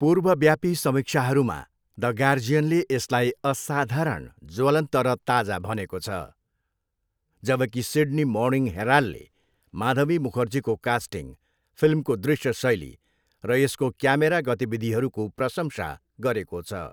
पूर्वव्यापी समीक्षाहरूमा, द गार्जियनले यसलाई असाधारण ज्वलन्त र ताजा भनेको छ, जबकि सिड्नी मर्निङ हेराल्डले माधवी मुखर्जीको कास्टिङ, फिल्मको दृश्य शैली र यसको क्यामेरा गतिविधिहरूको प्रशंसा गरेको छ।